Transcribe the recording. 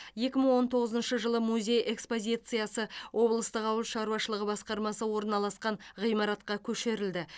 екі мың он тоғызыншы жылы музей экспозициясы облыстық ауыл шаруашылығы басқармасы орналасқан ғимаратқа көшірілді